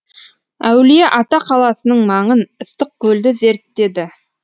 әулиеата қаласының маңын ыстықкөлді зерттеді